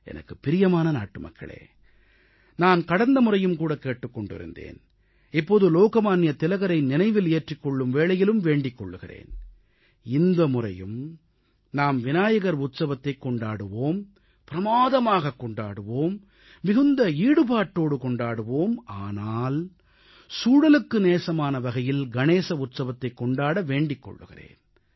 எனக்குப் பிரியமான நாட்டுமக்களே நான் கடந்த முறையும் கேட்டுக் கொண்டிருந்தேன் இப்போது லோகமான்ய திலகரை நினைவிலேற்றிக் கொள்ளும் வேளையிலும் வேண்டிக் கொள்கிறேன் இந்தமுறையும் நாம் விநாயகர் உற்சவத்தைக் கொண்டாடுவோம் பிரமாதமாகக் கொண்டாடுவோம் மிகுந்த ஈடுபாட்டோடு கொண்டாடுவோம் ஆனால் சூழலுக்கு நேசமான வகையில் கணேச உற்சவத்தைக் கொண்டாட வேண்டிக் கொள்கிறேன்